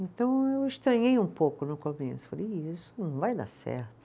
Então eu estranhei um pouco no começo, falei, isso não vai dar certo.